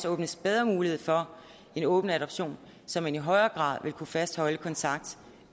åbnes bedre mulighed for en åben adoption så man i højere grad vil kunne fastholde en kontakt